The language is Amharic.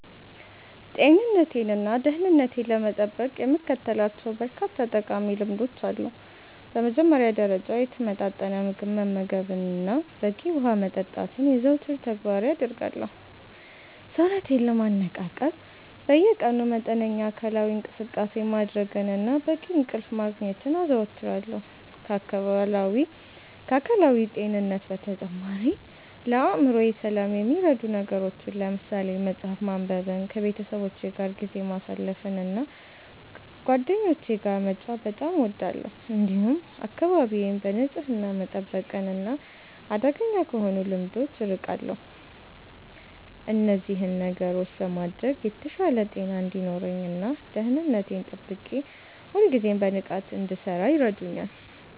ጤንነቴንና ደህንነቴን ለመጠበቅ የምከተላቸው በርካታ ጠቃሚ ልምዶች አሉ። በመጀመሪያ ደረጃ፣ የተመጣጠነ ምግብ መመገብንና በቂ ውሃ መጠጣትን የዘወትር ተግባሬ አደርጋለሁ። ሰውነቴን ለማነቃቃት በየቀኑ መጠነኛ አካላዊ እንቅስቃሴ ማድረግንና በቂ እንቅልፍ ማግኘትን አዘወትራለሁ። ከአካላዊ ጤንነት በተጨማሪ፣ ለአእምሮዬ ሰላም የሚረዱ ነገሮችን ለምሳሌ መጽሐፍ ማንበብንና ከቤተሰቦቼ ጋር ጊዜ ማሳለፍን እና ጓደኞቼ ጋር መጫወት በጣም እወዳለሁ። እንዲሁም አካባቢዬን በንጽህና መጠበቅና አደገኛ ከሆኑ ልምዶች አርቃለሁ። እነዚህን ነገሮች በማድረግ የተሻለ ጤና እንዲኖረኝ እና ደህንነቴን ጠብቄ ሁልጊዜም በንቃት እንድሠራ ይረዱኛል።